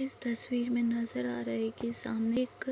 इस तस्वीर मे नज़र आ रही की एक सामने एक